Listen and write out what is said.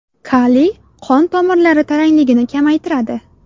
Kaliy qon tomirlari tarangligini kamaytiradi.